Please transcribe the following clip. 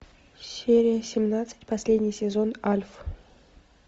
серия семнадцать последний сезон альф